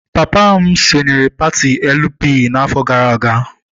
Papa m sonyeere pati Elu Pi n'afọ gara aga.